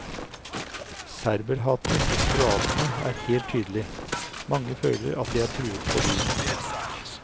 Serberhatet hos kroatene er helt tydelig, mange føler at de er truet på livet.